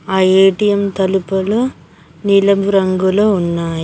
ఆ ఏ_టీ_ఎం తలుపులు నీలం రంగులో ఉన్నాయి.